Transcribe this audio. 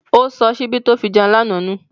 Ó sọ ṣíbí tó fi jẹun lánàá nù.